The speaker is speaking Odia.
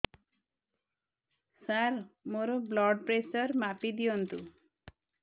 ସାର ମୋର ବ୍ଲଡ଼ ପ୍ରେସର ମାପି ଦିଅନ୍ତୁ